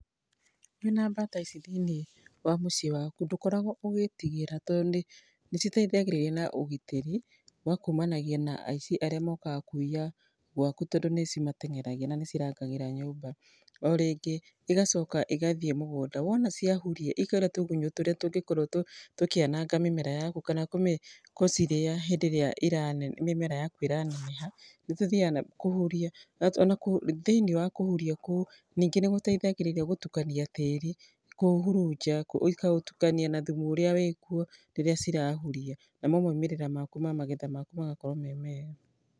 Wĩna mbata ici thĩiniĩ wa mũciĩ waku ndũkoragwo ũgĩtigĩra to nĩ citeithagia na ũgitĩri, wa kumanagia na aici arĩa mokaga kũiya gwaku tondũ nĩ cimatenyeragia na nĩ cirangagĩra nyũmba .Orĩngĩ, igacoka igathiĩ mũgũnda, wona ciahuria, ikarĩa tũgunyũ tũrĩa tũngĩkorwo tũkĩanganga mĩmera yaku. Kana gũcirĩa hĩndĩ ĩrĩa iraneneha kana mĩmera yaku ĩraneneha, nĩ tũthiaga kũhuria. Ona thĩini wa kũhuria kũu, ningĩ nĩ gũteithagĩrĩria gũtukania tĩri, kũũhurunja ikũũtukania na thumu ũrĩa wĩ kuo rĩrĩa cirahuria namo maumĩrĩra ma magetha maku magakorwo me mega.